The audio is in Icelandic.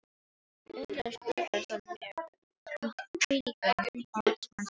Undraðist Úlfar það mjög, með hvílíkum valdsmannsbrag